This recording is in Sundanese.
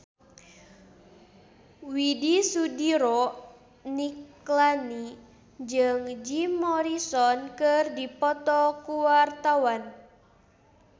Widy Soediro Nichlany jeung Jim Morrison keur dipoto ku wartawan